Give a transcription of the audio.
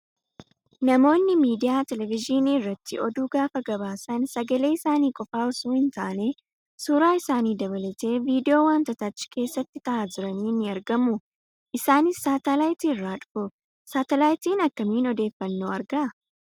Namoonni miidiyaa televezyiinii irratti oduu gaafa gabaasan sagalee isaanii qofaa osoo hin taane suuraa isaanii dabalatee viidiyoo wantoota achi keessatti ta'aa jiranii ni argamu. Isaanis saatalaayitiirraa dhufu. Saatalaayitiin akkamiin odeeffanoo ergaa?